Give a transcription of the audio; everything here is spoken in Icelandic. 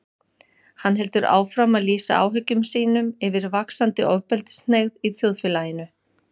Hann heldur áfram að lýsa áhyggjum sínum yfir vaxandi ofbeldishneigð í þjóðfélaginu.